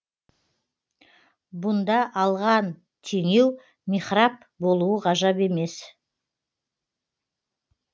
бұнда алған теңеу михраб болуы ғажап емес